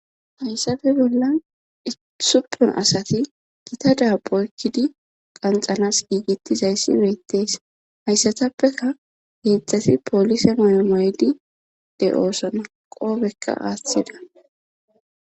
hayssafe bolla isupon asati gita daap oykkidi qanxanas giigetizayssi beettees hayssatappeka geedzdzati poolise mayomaydi de oosona qoobekka aaththida